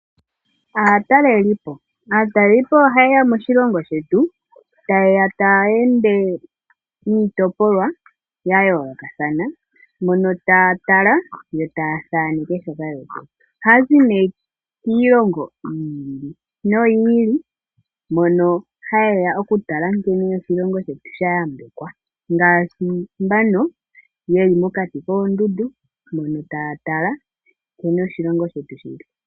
Aatalelipo oha yeya moshilongo shetu taya ende niitopolwa ya yoolokothana mono taya tala yo taathaneke. Ohaya zi kiilongo yili noyiili, tayeya oku tala nkene oshilongo shetu sha yambekwa. Ohaya kala mokati koondundu taya tala nkene oshilongo shetu shili.